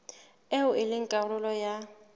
eo e leng karolo ya